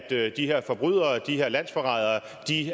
de her forbrydere de her landsforrædere